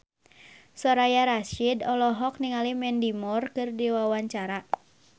Soraya Rasyid olohok ningali Mandy Moore keur diwawancara